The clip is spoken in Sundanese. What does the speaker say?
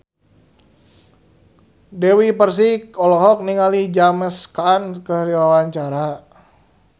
Dewi Persik olohok ningali James Caan keur diwawancara